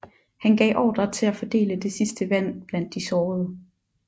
Han gav ordre til at fordele det sidste vand blandt de sårede